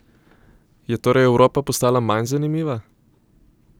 Je torej Evropa postala manj zanimiva?